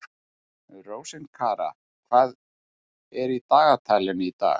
Rósinkara, hvað er í dagatalinu í dag?